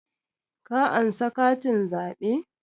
Ka ansa katin zaɓe?